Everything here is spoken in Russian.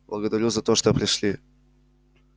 благодарю за то что пришли